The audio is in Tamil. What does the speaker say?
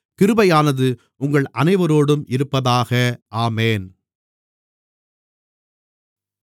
கிருபையானது உங்கள் அனைவரோடும் இருப்பதாக ஆமென்